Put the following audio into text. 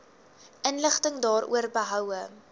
inligting daaroor behoue